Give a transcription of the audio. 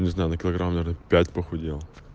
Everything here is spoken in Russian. килограмм пять похудел